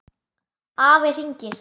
Afi hringir